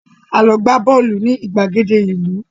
A lọ gbá bọ́ọ̀lù ní ìgbàgede ìlú